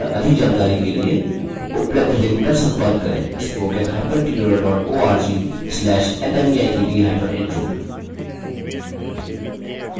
इस mission पर अधिक जानकारी के लिए उपलब्ध लिंक पर संपर्क करेंspoken hyphen tutorial dot org slash nmeict hyphen intro